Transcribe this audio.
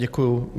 Děkuji.